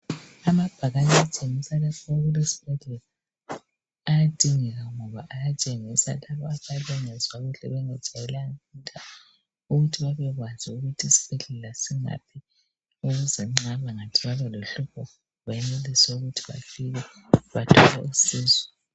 Amabhakane atshengisa lapho okulesibhedlela, ayadingeka, ngoba ayatshengisa abantu abangezwa kuhle bengajayelanga, ukuthi babekwazi ukuthi isibhedlela. singaphi. Ukuze bangathi babe lohlupho, benelise ukuthi bafike. Bathole usizo.